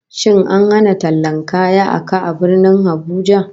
Shin an hana tallan kaya a ka a Birnin Abuja?